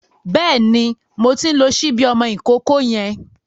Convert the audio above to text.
Bẹ́ẹ̀ni, mo ti ń lo ṣíbí ọmọ ìkókó yẹn.